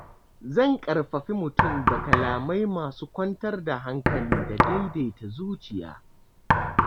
Zan ƙarfafi mutum da kalamai masu kwantar da hankali da daidaita zuciya.